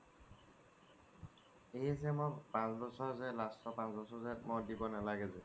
এইয়ে যে মই পাঁচ বছৰ যে last ৰ পাঁচ বছৰ যে দিব নালাগে যে